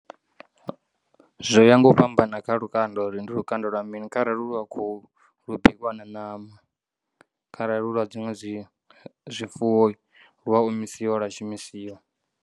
Zwo ya nga u fhambana kha lukanda uri ndi lukanda lwa mini kharali hu lwa khuhu lu bikwa na ṋama kharali hu lwa dziṅwe zwi zwifuwo lu a omisiwa lwa shumisiwa.